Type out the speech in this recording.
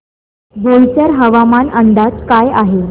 बोईसर हवामान अंदाज काय आहे